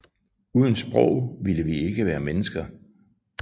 Uden sprog ville vi ikke være mennesker